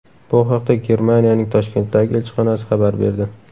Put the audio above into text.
Bu haqda Germaniyaning Toshkentdagi elchixonasi xabar berdi .